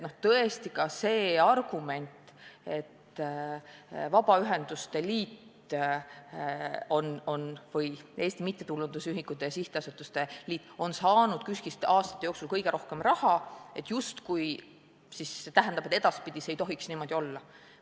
Tõesti, ka see argument, et kuna Vabaühenduste Liit või Eesti Mittetulundusühingute ja Sihtasutuste Liit on saanud KÜSK-ist aastate jooksul kõige rohkem raha, siis see justkui tähendab, et edaspidi ei tohiks enam niimoodi olla.